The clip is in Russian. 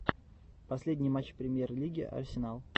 последний матч премьер лиги арсенал